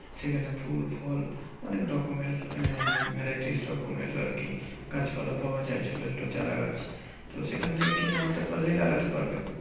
সেখানে ফুল ফল অনেক রকমের আহ varieties রকমের আরকি গাছপালা পাওয়া যায় ছোট ছোট চারাগাছ। তো সেখানে থেকে কিনে আনতে পারলেই লাগাতে পারবে।